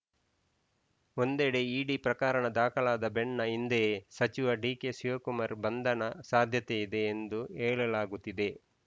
ಒಂದೆಡೆ ಇಡಿ ಪ್ರಕರಣ ದಾಖಲಾದ ಬೆನ್ನ ಹಿಂದೆಯೇ ಸಚಿವ ಡಿಕೆಶಿವಕುಮಾರ್‌ ಬಂಧನ ಸಾಧ್ಯತೆಯಿದೆ ಎಂದು ಹೇಳಲಾಗುತಿದೆ